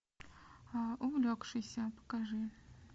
увлекшийся покажи